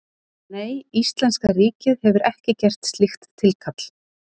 Nei, íslenska ríkið hefur ekki gert slíkt tilkall.